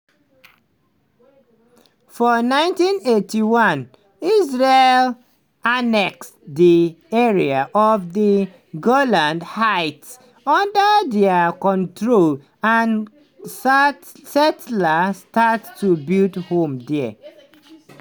for 1981 israel annex di area of di golan heights under dia control and settlers start to build homes dia.